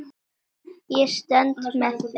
Ég stend með þeim.